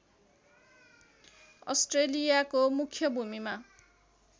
अस्ट्रेलियाको मुख्य भूमिमा